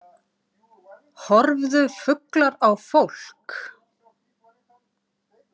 Horfðu fuglar á fólk?